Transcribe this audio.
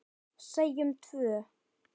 Segjum tvö.